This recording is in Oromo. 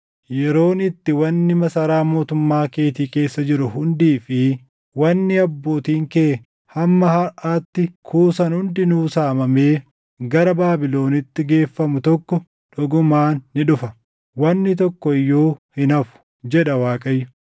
Yeroon itti wanni masaraa mootummaa keetii keessa jiru hundii fi wanni abbootiin kee hamma harʼaatti kuusan hundinuu saamamee gara Baabilonitti geeffamu tokko dhugumaan ni dhufa. Wanni tokko iyyuu hin hafu, jedha Waaqayyo.